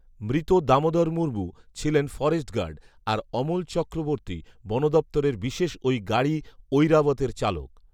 মৃত দামোদর মুর্মু ছিলেন forest guard, আর অমল চক্রবর্তী বন দপ্তরের বিশেষ ওই গাড়ি 'ঐরাবত' এর চালক